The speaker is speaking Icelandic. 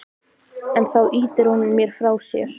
En þá ýtir hún mér frá sér.